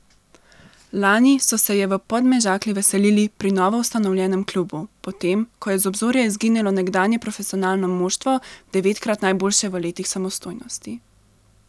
Lani so se je v Podmežakli veselili pri novoustanovljenem klubu, potem ko je z obzorja izginilo nekdanje profesionalno moštvo, devetkrat najboljše v letih samostojnosti.